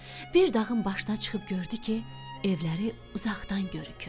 Bir dağın başına çıxıb gördü ki, evləri uzaqdan görükür.